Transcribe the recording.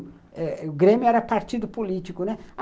O Grêmio era partido político, né?